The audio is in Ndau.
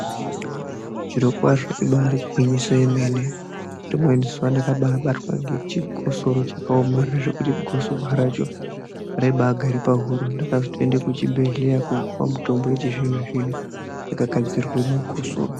Zvirokwazvo ibari igwinyiso yemene rimweni zuva pandakabatwa negosoro rakambai gara pahuro ndakaenda kuchibhedhlera kunopihwa mutombo wechizvino zvino .